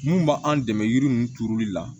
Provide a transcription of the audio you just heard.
Mun b'an dɛmɛ yiri ninnu turuli la